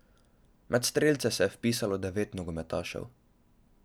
Med strelce se je vpisalo devet nogometašev.